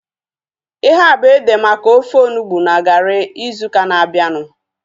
Ihea bụ ede maka ofe onugbu na garị ịzụ ụka na-abianu